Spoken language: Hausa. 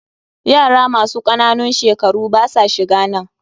Yara masu ƙananun shekaru basa shiganan.